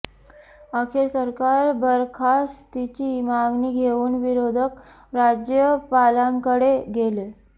अखेर सरकार बरखास्तीची मागणी घेऊन विरोधक राज्यपालांकडे गेले